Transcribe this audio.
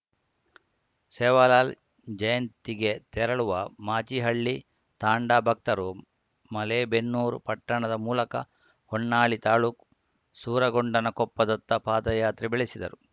ಸೇವಾಲಾಲ್‌ ಜಯಂತಿಗೆ ತೆರಳುವ ಮಾಚಿಹಳ್ಳಿ ತಾಂಡಾ ಭಕ್ತರು ಮಲೇಬೆನ್ನೂರು ಪಟ್ಟಣದ ಮೂಲಕ ಹೊನ್ನಾಳಿ ತಾಲೂಕ್ ಸೂರಗೊಂಡನಕೊಪ್ಪ ದತ್ತ ಪಾದಯಾತ್ರೆ ಬೆಳೆಸಿದರು